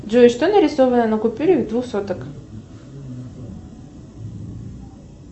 джой что нарисовано на купюре двух соток